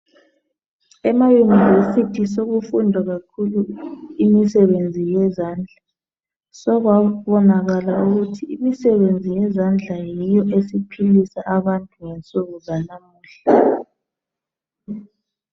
EmaUnivesithi sokufundwa kakhulu imisebenzi yezandla ,sekwabonakala ukuthi imisebenzi yezandla yiyo esiphilisa abantu ngensuku zanamuhla.